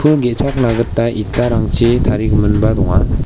pul ge·chakna gita itarangchi tarigiminba donga.